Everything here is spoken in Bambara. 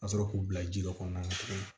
Ka sɔrɔ k'u bila ji dɔ kɔnɔna na tuguni